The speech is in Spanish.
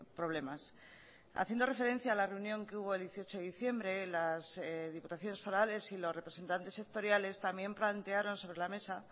problemas haciendo referencia a la reunión que hubo el dieciocho de diciembre las diputaciones forales y los representantes sectoriales también plantearon sobre la mesa